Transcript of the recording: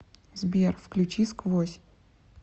сбер включи сквозь